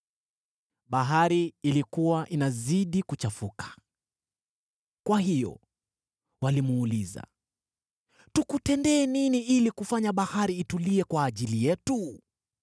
Bahari ilikuwa inazidi kuchafuka. Kwa hiyo walimuuliza, “Tukutendee nini ili kufanya bahari itulie kwa ajili yetu?”